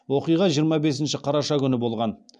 оқиға жиырма бесінші қараша күні болған